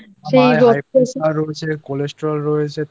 মায়ের High Pressure রয়েছে Cholesterol